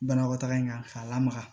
Banakɔtaga in kan k'a lamaga